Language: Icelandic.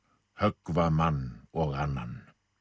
höggva mann og annan